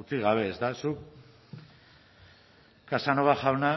utzi gabe ezta zuk casanova jauna